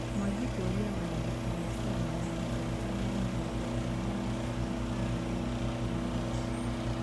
Mwangi kũria wanadiplomasia magana mugwanja ma mĩrongo ĩtano na atano a amerika kũma Russia.